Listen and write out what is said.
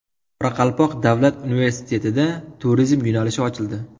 Qoraqalpoq davlat universitetida turizm yo‘nalishi ochildi.